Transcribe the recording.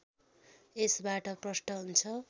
यसबाट प्रष्ट हुन्छ